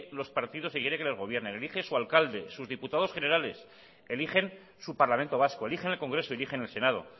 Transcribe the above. los partidos que quiere que le gobierne elige su alcalde sus diputados generales eligen su parlamento vasco eligen el congreso eligen el senado